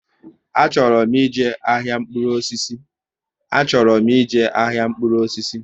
Achọrọ m ije ahịa mkpụrụ osisi